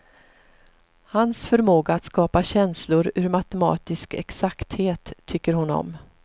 Hans förmåga att skapa känslor ur matematisk exakthet tycker hon om.